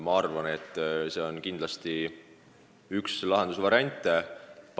Ma arvan, et see on kindlasti üks lahendusvariante.